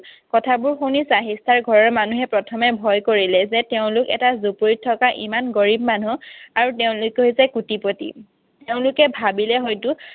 কথাবোৰ শুনি চাহিষ্ঠাৰ ঘৰৰ মানুহে প্ৰথমে ভয় কৰিলে। যে তেওঁলোক এটা জুপুৰিত থকা ইমান গৰীৱ মানুহ আৰু তেওঁলোক হৈছে কোটিপতি। তেওঁলোকে ভাবিলে হয়তো